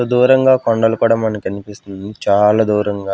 దూరంగా కొండలు కూడా మనకు కనిపిస్తుంది చాలా దూరంగా.